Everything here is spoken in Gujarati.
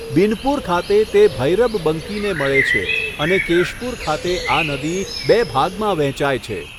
બિનપુર ખાતે તે ભૈરબબંકીને મળે છે, અને કેશપુર ખાતે આ નદી બે ભાગમાં વહેંચાય છે.